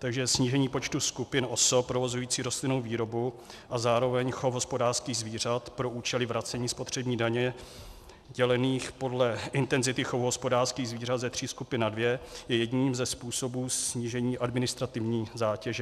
Takže snížení počtu skupin osob provozujících rostlinnou výrobu a zároveň chov hospodářských zvířat pro účely vracení spotřební daně dělených podle intenzity chovu hospodářských zvířat ze tří skupin na dvě je jedním ze způsobů snížení administrativní zátěže.